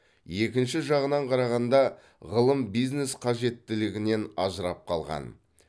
екінші жағынан қарағанда ғылым бизнес қажеттілігінен ажырап қалған